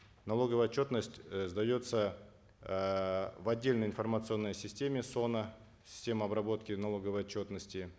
налоговая отчетность э сдается эээ в отдельной информационной системе соно система обработки налоговой отчетности